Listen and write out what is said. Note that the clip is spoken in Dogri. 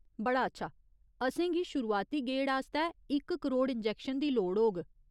बड़ा अच्छा। असेंगी शुरुआती गेड़ आस्तै इक करोड़ इंजैक्शन दी लोड़ होग।